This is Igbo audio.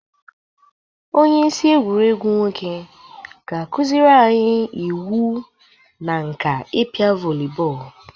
Onyeisi egwuregwu nwoke ga-akụzịrị anyị iwu na nka ịpịa vọli bọọlụ